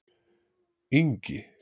Ingi